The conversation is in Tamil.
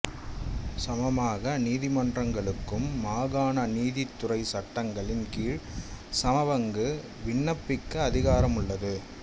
சமமாக நீதிமன்றங்களுக்கு மாகாண நீதித்துறை சட்டங்களின் கீழ் சமபங்கு விண்ணப்பிக்க அதிகாரம் உள்ளது